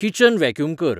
kitchen vacuum कर